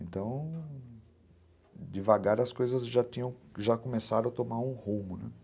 Então, devagar as coisas já tinham, já começaram a tomar um rumo